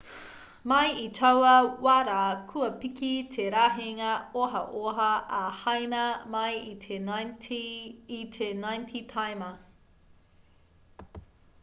mai i taua wā rā kua piki te rahinga ohaoha a haina mai i te 90 taima